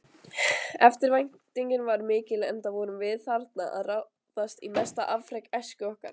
Eftirvæntingin var mikil enda vorum við þarna að ráðast í mesta afrek æsku okkar.